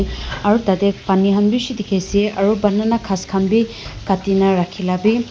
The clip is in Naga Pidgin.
Aro tateh pani khan bhi beshi dekhey ase aro banana ghas khan bhi katina rakheyla bhi--